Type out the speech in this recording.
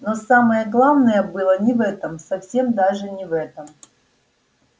но самое главное было не в этом совсем даже не в этом